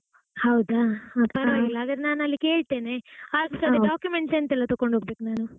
ಹೌದಾ, ಹಾ ಪರವಾಗಿಲ್ಲ ಹಾಗಾದ್ರೆ ನಾನು ಅಲ್ಲಿ ಕೇಳ್ತೇನೆ. documents ಎಂತೆಲ್ಲ ತಗೊಂಡು ಹೋಗಬೇಕು ನಾನು?